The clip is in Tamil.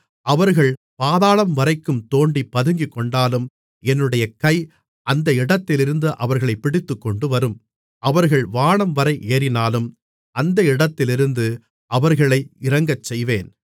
அவர்கள் பாதாளம்வரைக்கும் தோண்டிப் பதுங்கிக்கொண்டாலும் என்னுடைய கை அந்த இடத்திலிருந்து அவர்களைப் பிடித்துக்கொண்டுவரும் அவர்கள் வானம்வரை ஏறினாலும் அந்த இடத்திலிருந்து அவர்களை இறங்கச்செய்வேன்